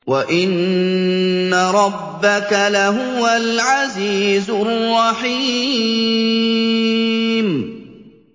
وَإِنَّ رَبَّكَ لَهُوَ الْعَزِيزُ الرَّحِيمُ